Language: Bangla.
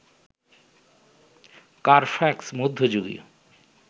কারফ্যাক্স মধ্যযুগীয়